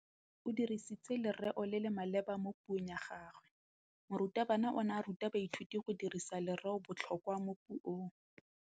O dirisitse lerêo le le maleba mo puông ya gagwe. Morutabana o ne a ruta baithuti go dirisa lêrêôbotlhôkwa mo puong.